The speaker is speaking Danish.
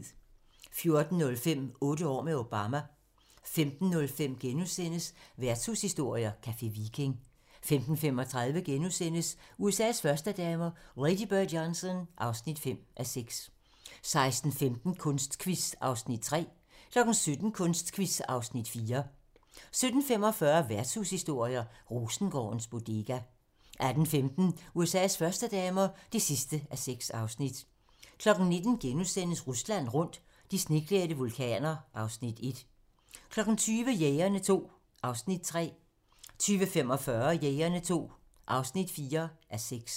14:05: Otte år med Obama 15:05: Værtshushistorier: Café Viking * 15:35: USA's førstedamer - Lady Bird Johnson (5:6)* 16:15: Kunstquiz (Afs. 3) 17:00: Kunstquiz (Afs. 4) 17:45: Værtshushistorier: Rosengårdens Bodega 18:15: USA's førstedamer (6:6) 19:00: Rusland rundt - de sneklædte vulkaner (Afs. 1)* 20:00: Jægerne II (3:6) 20:45: Jægerne II (4:6)